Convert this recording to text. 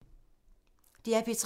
DR P3